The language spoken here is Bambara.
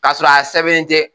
Ka sɔrɔ a sɛbɛnnen tɛ.